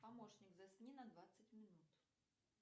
помощник засни на двадцать минут